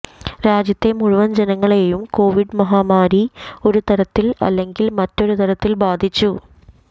രാജ്യത്തെ മുഴുവൻ ജനങ്ങളെയും കൊവിഡ് മഹാമാരി ഒരുതരത്തിൽ അല്ലെങ്കിൽ മറ്റൊരു തരത്തിൽ ബധിച്ചു